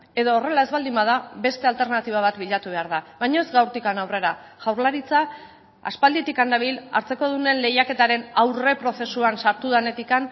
edo horrela ez baldin bada beste alternatiba bat bilatu behar da baina ez gaurtik aurrera jaurlaritza aspalditik dabil hartzekodunen lehiaketaren aurreprozesuan sartu denetik